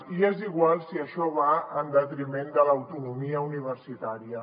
i és igual si això va en detriment de l’autonomia universitària